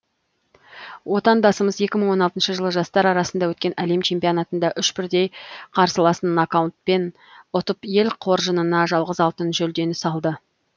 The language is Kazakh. отандасымыз екі мың он алтыншы жылы жастар арасында өткен әлем чемпионатында үш бірдей қарсыласын нокаутпен ұтып ел қоржынына жалғыз алтын жүлдені салды